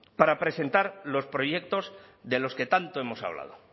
para presentar los proyectos de los que tanto hemos hablado